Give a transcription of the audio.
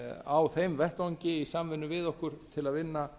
á þeim vettvangi í samvinnu við okkur til að vinna